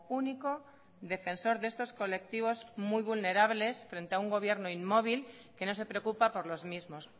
único defensor de estos colectivos muy vulnerables frente a un gobierno inmóvil que no se preocupa por los mismos